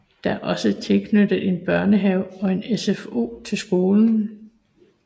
Der er også tilknyttet en børnehave og en SFO til skolen